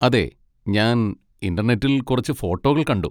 അതെ, ഞാൻ ഇന്റർനെറ്റിൽ കുറച്ച് ഫോട്ടോകൾ കണ്ടു.